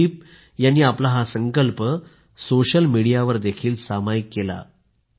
अनुदीप यांनी आपला हा संकल्प सोशल मीडियावर देखील सामायिक केला